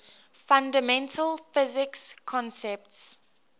fundamental physics concepts